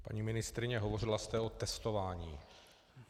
Paní ministryně, hovořila jste o testování.